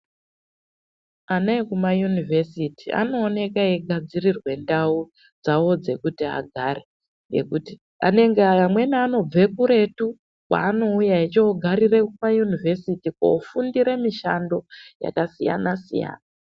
Ana ekumayunivhesti anooneka echigadzirirwa ndau dzawo dzekuti agare ngekuti amweni anobve kuretu kwaanouya echogarira payunivhesiti veifundira mishando yakasiyana siyana.